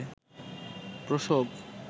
প্রসব